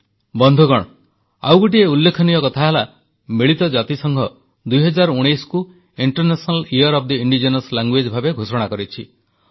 ବନ୍ଧୁଗଣ ଆଉ ଗୋଟିଏ ଉଲ୍ଲେଖନୀୟ କଥା ହେଲା ମିଳିତ ଜାତିସଂଘ 2019କୁ ଅନ୍ତର୍ଜାତୀୟ ସ୍ୱଦେଶୀ ଭାଷା ବର୍ଷ ଭାବେ ଘୋଷଣା କରିଛି